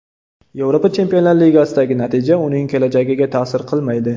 Yevropa Chempionlar Ligasidagi natija uning kelajagiga ta’sir qilmaydi.